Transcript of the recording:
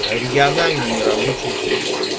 региональный нерабочие дни